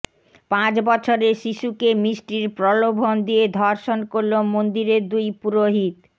পাঁচ বছরের শিশুকে মিষ্টির প্রলোভন দিয়ে ধর্ষণ করল মন্দিরের দুই পুরোহিত